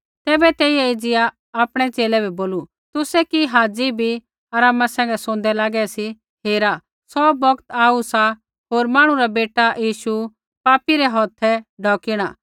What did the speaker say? तैबै तेइयै एज़िया आपणै च़ेले बै बोलू तुसै कि हाज़ी बी आरामा सैंघै सोंदै लागै सी हेरा सौ बौगत आऊ सा होर मांहणु रा बेटा यीशु पापी रै हौथै ढोकिणा